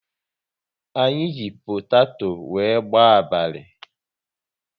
Anyị ji potato wéré gbaa abalị